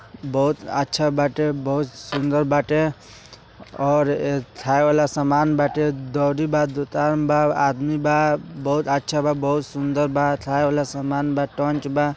बहुत अच्छा बाटे बहुत सुंदर बाटे और खाए वाला समान बाटे आदमी बा बहुत अच्छा बहुत सुंदर बा और खाने वाले सामान बा।